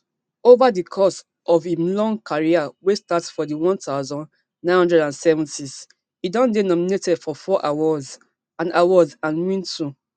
ova di course of im long career wey start for di one thousand, nine hundred and seventys e don dey nominated for four awards and awards and win two